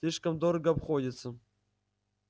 слишком дорого обходится